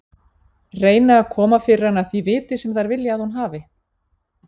Reyna að koma fyrir hana því viti sem þær vilja að hún hafi.